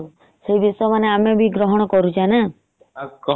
ସେ ବିଷ ମାନେ ଆମେ ବି ଗ୍ରହଣ କରୁଛେ ନା ।